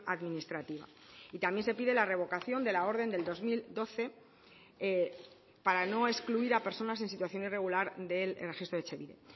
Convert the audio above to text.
administrativa y también se pide la revocación de la orden del dos mil doce para no excluir a personas en situación irregular del registro de etxebide